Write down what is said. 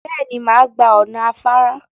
Bẹ́ẹ̀ ni, màá gba ọ̀nà afára.